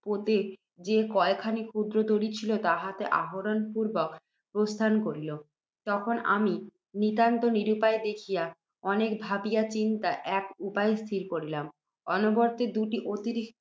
পোতে যে কয়খানি ক্ষুদ্র তরী ছিল, তাহাতে আরোহণ পূর্ব্বক প্রস্থান করিল। তখন আমি, নিতান্ত নিরুপায় দেখিয়া, অনেক ভাবিয়া চিন্তিয়া, এক উপায় স্থির করিলাম। অর্ণবপোতে দুটি অতিরিক্ত